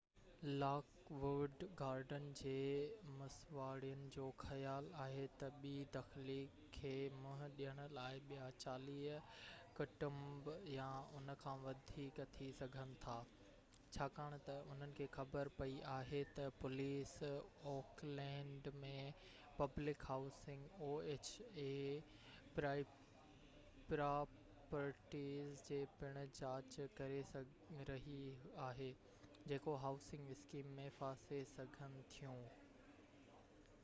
lock wood garden جي مسواڙين جو خيال آهي تہ بي دخلي کي منهن ڏيڻ لاءِ ٻيا 40 ڪٽنب يا ان کان وڌيڪ ٿي سگهن ٿا ڇاڪاڻ تہ انهن کي خبر پئي آهي تہ oha پوليس اوڪلينڊ م پبلڪ هائوسنگ پراپرٽيز جي پڻ جاچ ڪري رهئي آهي جيڪو هائوسنگ اسڪيم ۾ ڦاسي سگهن ٿيون